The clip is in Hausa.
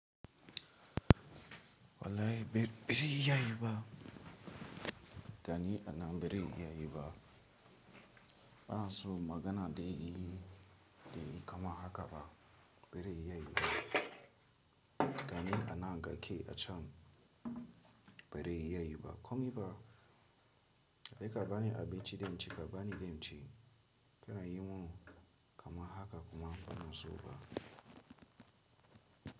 Wallahi bir bazai iyayeba gani a nan birin iya yiba ana so magana dai e kaman haka ba bare iya yi ba, gani a nan gaki acan bare iya yi ba komi ba kai ka bani abinci dan ci ka bani danci kanayi man kaman haka kuma bana so fa.